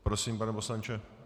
Prosím, pane poslanče.